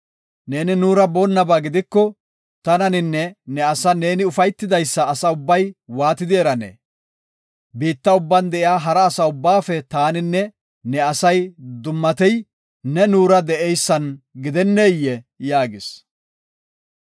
Neeni nuura boonnaba gidiko, tananinne ne asan ne ufaytidaysa asa ubbay waatidi eranee? Biitta ubban de7iya hara asa ubbaafe taaninne ne asay dummatey ne nuura de7eysan gidenneyee?” yaagis.